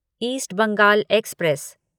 east Bengal express